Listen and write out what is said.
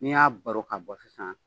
N'i y'a baro ka bɔ sisan